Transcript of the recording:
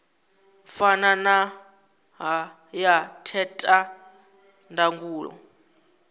fana na ya theta ndangulo